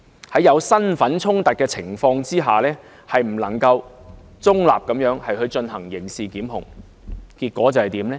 在身份出現衝突的情況下，律政司司長不能夠中立地進行刑事檢控，結果會怎樣呢？